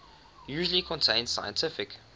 usually contain significant